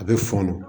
A bɛ fɔnɔ